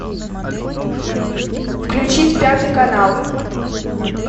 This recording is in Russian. включить пятый канал